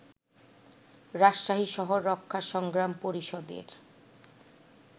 রাজশাহী শহর রক্ষা সংগ্রাম পরিষদের